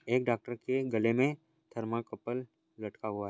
एक डॉक्टर के गले मे थर्माकॉपल लटका हुआ--